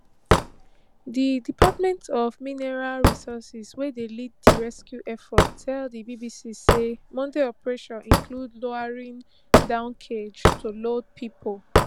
di department of mineral resources wey dey lead di rescue effort tell di bbc say monday operation include lowering down cage to load pipo